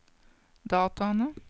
dataene